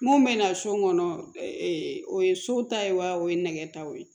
Mun bɛ na so kɔnɔ o ye so ta ye wa o ye nɛgɛ taw ye